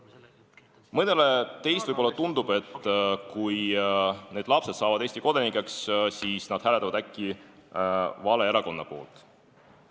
Mõnele teist võib-olla tundub, et kui need lapsed saavad Eesti kodanikeks, siis nad hääletavad äkki vale erakonna poolt.